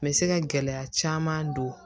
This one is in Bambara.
Me se ka gɛlɛya caman don